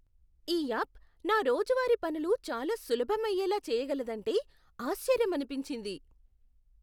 ఈ యాప్ నా రోజువారీ పనులు చాలా సులభమయ్యేలా చేయగలదంటే ఆశ్చర్యమనిపించింది.